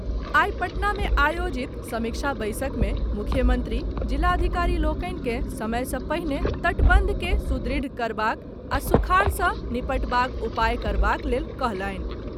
आई पटना में आयोजित समीक्षा बैसक मे मुख्यमंत्री जिलाधिकारी लोकनि के समय सँ पहिने तटबंध के सुदृढ़ करबाक आ सुखाड़ सँ निबटबाक उपाय करबाक लेल कहलनि।